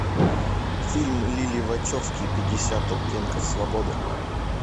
фильм лилли вачовски пятьдесят оттенков свободы